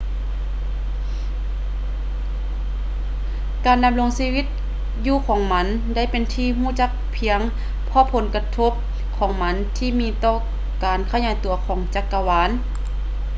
ການດຳລົງຢູ່ຂອງມັນໄດ້ເປັນທີ່ຮູ້ຈັກພຽງເພາະຜົນກະທົບຂອງມັນທີ່ມີຕໍ່ການຂະຫຍາຍຕົວຂອງຈັກກະວານ